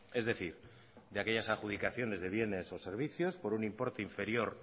es decir de aquellas adjudicaciones de bienes o servicios por un importe inferior